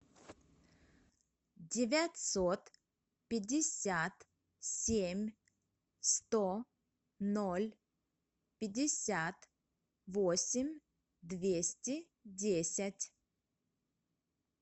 девятьсот пятьдесят семь сто ноль пятьдесят восемь двести десять